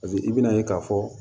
i bɛna ye k'a fɔ